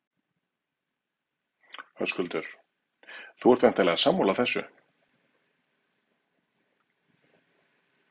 Höskuldur: Þú ert væntanlega sammála þessu?